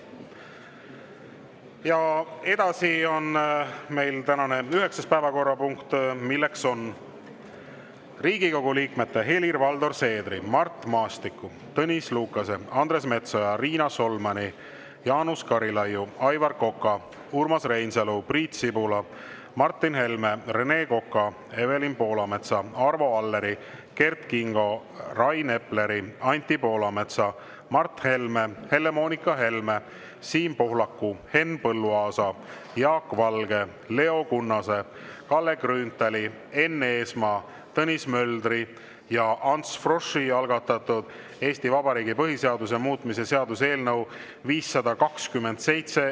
Ja edasi on meil tänane üheksas päevakorrapunkt, milleks on Riigikogu liikmete Helir-Valdor Seederi, Mart Maastiku, Tõnis Lukase, Andres Metsoja, Riina Solmani, Jaanus Karilaidi, Aivar Koka, Urmas Reinsalu, Priit Sibula, Martin Helme, Rene Koka, Evelin Poolametsa, Arvo Alleri, Kert Kingo, Rain Epleri, Anti Poolametsa, Mart Helme, Helle-Moonika Helme, Siim Pohlaku, Henn Põlluaasa, Jaak Valge, Leo Kunnase, Kalle Grünthali, Enn Eesmaa, Tõnis Möldri ja Ants Froschi algatatud Eesti Vabariigi põhiseaduse muutmise seaduse eelnõu 527.